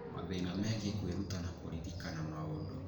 mathĩna megiĩ kwĩruta na kũririkana maũndũ.